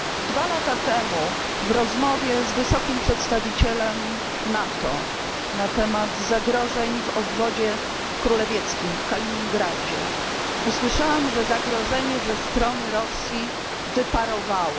Dwa lata temu w rozmowie z wysokim przedstawicielem NATO na temat zagrożeń w obwodzie królewieckim, w Kaliningradzie, usłyszałam, że zagrożenie ze strony Rosji wyparowało.